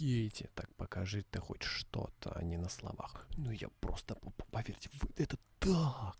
дети так покажи ты хоть что-то они на словах но я просто не могу поверить вот это то как